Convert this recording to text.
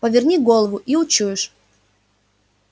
поверни голову и учуешь